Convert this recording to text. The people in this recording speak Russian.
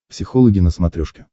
психологи на смотрешке